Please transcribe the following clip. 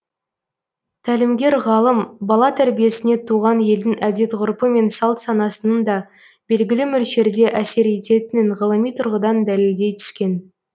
тәлімгер ғалым бала тәрбиесіне туған елдің әдет ғұрпы мен салт санасының да белгілі мөлшерде әсер ететінін ғылыми тұрғыдан дәлелдей түскен